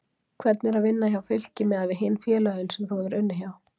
Hvernig er að vinna hjá Fylki miðað við hin félögin sem þú hefur unnið hjá?